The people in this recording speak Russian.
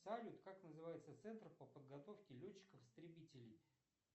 салют как называется центр по подготовке летчиков истребителей